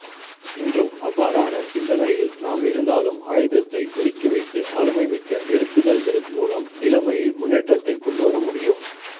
இன்றும் அவ்வாறான சிந்தனையில் நாம் இருந்தாலும் ஆயுதத்தை ஒதுக்கிவைத்து ஆளுமைமிக்க நெருக்குதல்கள் மூலம் நிலைமையில் முன்னேற்றத்தைக் கொண்டுவர முடியும்